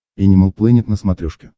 энимал плэнет на смотрешке